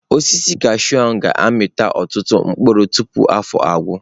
Osisi kashụụ a ga-amịpụta ọtụtụ mkpụrụ tupu afọ agwụ.